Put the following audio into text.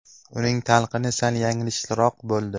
Uning talqini sal yanglishroq bo‘ldi.